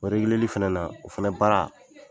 O fana na, o fana baara